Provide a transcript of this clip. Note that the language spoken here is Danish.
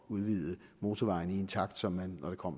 udvide motorvejene i en takt som man når det kommer